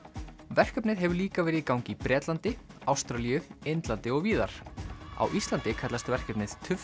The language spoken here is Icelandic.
verkefnið hefur líka verið í gangi í Bretlandi Ástralíu Indlandi og víðar á Íslandi kallast verkefnið